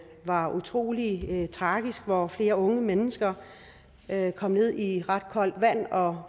var utrolig tragisk hvor flere unge mennesker kom ned i ret koldt vand og